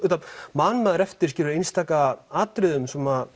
man maður eftir einstaka atriðum